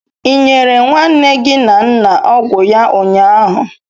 Ị nyere nwanne gị na nna ọgwụ ya ụnyaahụ?